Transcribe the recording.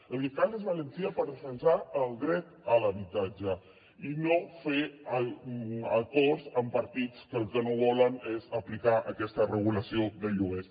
el que cal és valentia per defensar el dret a l’habitatge i no fer acords amb partits que el que no volen és aplicar aquesta regulació de lloguers